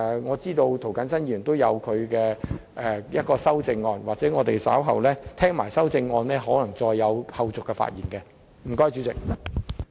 我知道涂謹申議員稍後會提出一項修正案，所以在聽罷修正案的內容後，我可能還會再作發言。